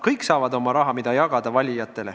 Kõik saavad oma raha, mida jagada valijatele.